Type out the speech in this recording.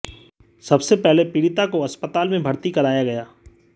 सबसे पहले पीड़िता को अस्पताल में भर्ती कराया गया